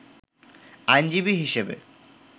আইনজীবী হিসেবে